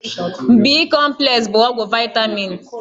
B-kọmplesị bụ ọgwụ vaịtaminụ.